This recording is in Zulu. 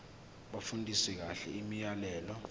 bafundisise kahle imiyalelo